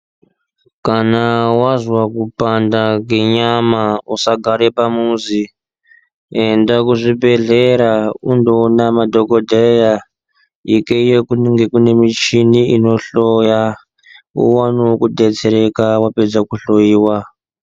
Kana wazwa kupanda kenyama usagara pamuzi enda kuzvibhedhlera undoone madhokodheya ikweyo kunenge kune michini inohloya uoneo kudetsereka wapedza kuhloyiwa.